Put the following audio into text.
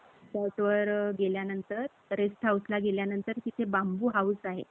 resort वर गेल्यानंत rest house ला गेल्यानंतर तिथे बांबु house आहे.